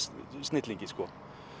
snillingi sko